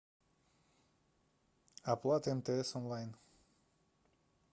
оплата мтс онлайн